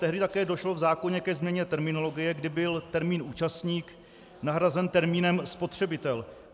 Tehdy také došlo v zákoně ke změně terminologie, kdy byl termín "účastník" nahrazen termínem "spotřebitel".